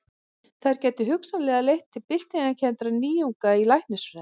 Þær gætu hugsanlega leitt til byltingarkenndra nýjunga í læknisfræði.